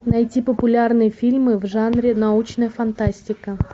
найти популярные фильмы в жанре научная фантастика